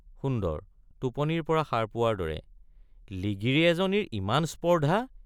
সুন্দৰ— টোপনিৰ পৰা সাৰ পোৱাৰ দৰে লিগিৰি এজনীৰ ইমান স্পৰ্দ্ধা!